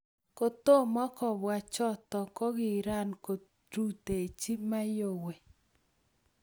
kotom kobwa choto, kokikakorutechi Mayowe